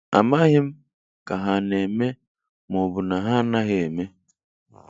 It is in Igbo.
Amaghị m Ka ha ana eme, ma ọbu na ha anaghị eme.